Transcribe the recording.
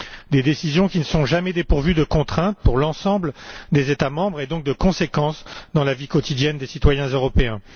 Leurs décisions ne sont jamais dépourvues de contrainte pour l'ensemble des États membres et, donc, de conséquences dans la vie quotidienne des citoyens européens.